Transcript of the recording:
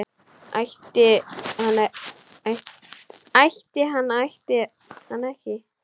Ætti hann ætti hann ekki?